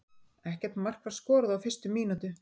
Ekkert mark var skorað á fyrstu mínútu.